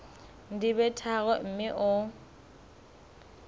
di be tharo mme o